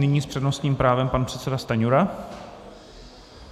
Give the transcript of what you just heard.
Nyní s přednostním právem pan předseda Stanjura.